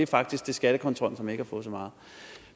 faktisk til skattekontrollen som ikke har fået så meget